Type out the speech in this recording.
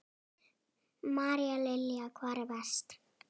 María Lilja: Hvar er verst?